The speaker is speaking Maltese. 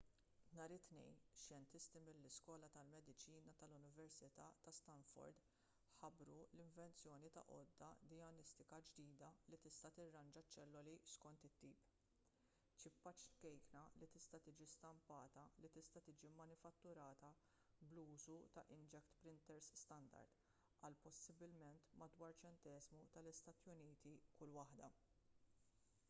nhar it-tnejn xjentisti mill-iskola tal-mediċina tal-università ta' stanford ħabbru l-invenzjoni ta' għodda dijanjostika ġdida li tista' tirranġa ċ-ċelloli skont it-tip ċippa ċkejkna li tista' tiġi stampata li tista' tiġi manifatturata bl-użu ta' inkjet printers standard għal possibilment madwar ċenteżmu tal-istati uniti kull waħda